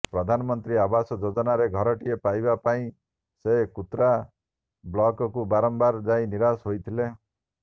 ପ୍ରଧାନମନ୍ତ୍ରୀ ଆବାସ ଯୋଜନାରେ ଘରଟିଏ ପାଇବା ପାଇଁ ସେ କୁତ୍ରା ବ୍ଲକ୍କୁ ବାରମ୍ବାର ଯାଇ ନିରାଶ ହୋଇଥିଲା